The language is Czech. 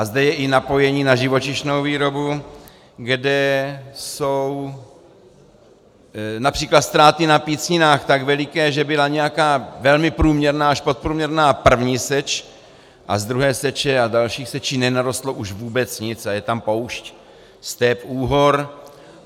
A zde je i napojení na živočišnou výrobu, kde jsou například ztráty na pícninách tak veliké, že byla nějaká velmi průměrná až podprůměrná první seč a z druhé seče a dalších sečí nenarostlo už vůbec nic a je tam poušť, step, úhor.